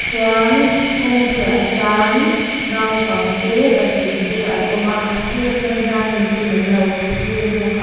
chuan kawngpuiah hian naupangte patling te an awm a a sir aṭang hian mipuiin an lo thlir bawk a.